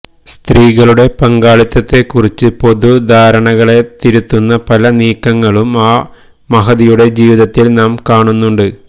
സ്ത്രീകളുടെ പങ്കാളിത്തത്തെക്കുറിച്ച പൊതുധാരണകളെ തിരുത്തുന്ന പല നീക്കങ്ങളും ആ മഹതിയുടെ ജീവിതത്തില് നാം കാണുന്നുണ്ട്